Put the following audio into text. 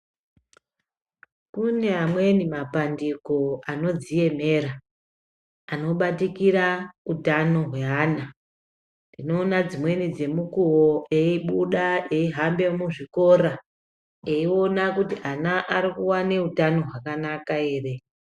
Kune amweni mapandiko anodziemera anobatikira utano hweana. Tinoona dzimweni dzemukuvo eibuda eihambe muzvikora eione kuti ana arikuvana utano hwakanaka ere.